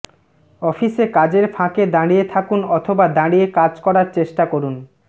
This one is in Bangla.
অফিসে কাজের ফাঁকে দাঁড়িয়ে থাকুন অথবা দাঁড়িয়ে কাজ করার চেষ্টা করুন